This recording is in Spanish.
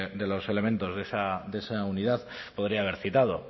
de los elementos de esa unidad podría haber citado